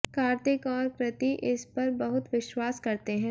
कार्तिक और कृति इस पर बहुत विश्वास करते हैं